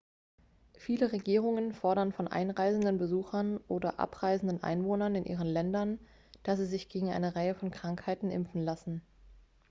viele regierungen fordern von einreisenden besuchern oder abreisenden einwohnern in ihren ländern dass sie sich gegen eine reihe von krankheiten impfen lassen